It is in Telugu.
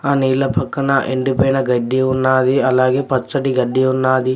ఆ నీళ్ళ పక్కన ఎండిపోయిన గడ్డి ఉన్నాది అలాగే పచ్చటి గడ్డి ఉన్నాది.